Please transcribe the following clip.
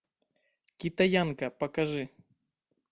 китаянка покажи